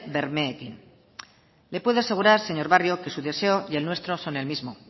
bermeekin le puedo asegurar señor barrio que su deseo y el nuestro son el mismo